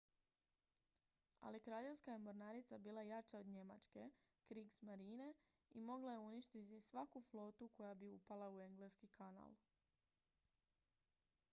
"ali kraljevska je mornarica bila jača od njemačke "kriegsmarine" i mogla je uništiti svaku flotu koja bi upala u engleski kanal.